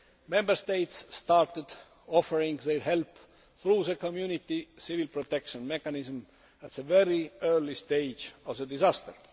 Member States started offering their help through the Community Civil Protection Mechanism at a very early stage of the disaster.